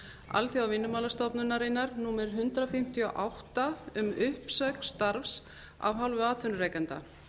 alþjóðavinnumálastofnunarinnar númer hundrað fimmtíu og átta um uppsögn starfs af hálfu atvinnurekanda